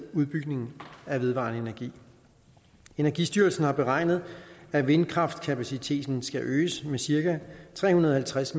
udbygning af vedvarende energi energistyrelsen har beregnet at vindkraftskapaciteten skal øges med cirka tre hundrede og halvtreds